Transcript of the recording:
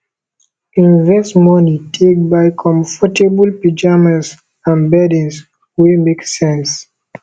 invest money take buy comfortable pyjamas and beddings wey make sense